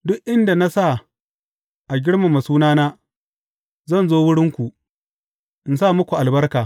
Duk inda na sa a girmama sunana, zan zo wurinku, in sa muku albarka.